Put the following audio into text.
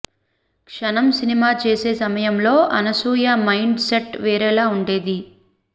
క్షణం సినిమా చేసే సమయంలో అనసూయ మైండ్ సెట్ వేరేలా ఉండేది